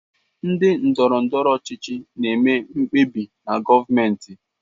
Ndị ndọrọ ndọrọ ọchịchị na-eme mkpebi na gọọmentị.